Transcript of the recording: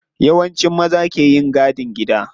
Yawanci maza ke yin gadin gida.